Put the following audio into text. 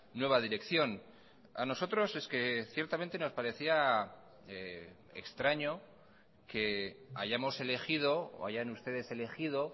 nueva dirección a nosotros es que ciertamente nos parecía extraño que hayamos elegido o hayan ustedes elegido